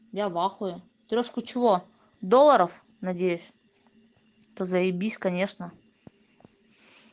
я вахуе трёшку чего доллоров надеюсь то заебись конечно